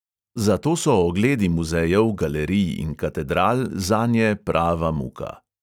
Zato so ogledi muzejev, galerij in katedral zanje prava muka.